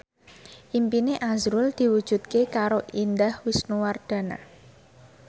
impine azrul diwujudke karo Indah Wisnuwardana